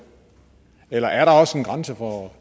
eller er der også en grænse for